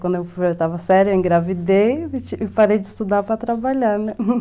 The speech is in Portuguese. Quando eu fui para a oitava série eu engravidei e parei de estudar para trabalhar, né?